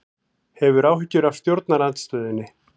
Hefur áhyggjur af stjórnarandstöðunni